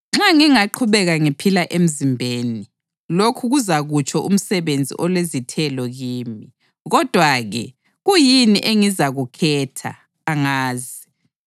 Nxa ngingaqhubeka ngiphila emzimbeni, lokhu kuzakutsho umsebenzi olezithelo kimi. Kodwa-ke, kuyini engizakukhetha? Angazi!